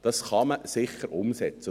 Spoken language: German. Dies kann man sicher umsetzen.